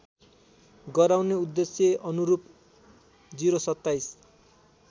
गराउने उद्देश्यअनुरूप ०२७